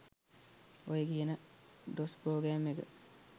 ඔය කියන DOS program එක